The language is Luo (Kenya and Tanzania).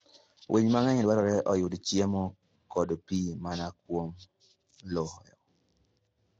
Winy mang'eny dwarore oyud chiemo kod pi mana kuom lowo.